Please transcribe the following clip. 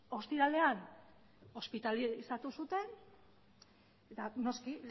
ostiralean ospitalizatu zuten eta noski